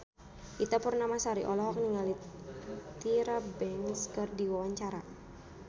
Ita Purnamasari olohok ningali Tyra Banks keur diwawancara